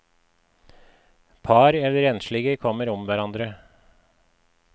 Par eller enslige kommer om hverandre.